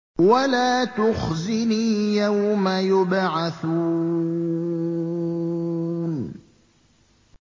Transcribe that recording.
وَلَا تُخْزِنِي يَوْمَ يُبْعَثُونَ